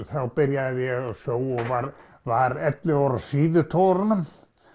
þá byrjaði ég á sjó og var var ellefu ára á síðutogurunum